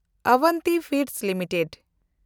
Avanti feeds limited